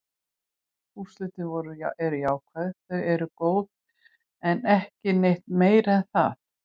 Úrslitin eru jákvæð, þau eru góð, en ekki neitt meira en það.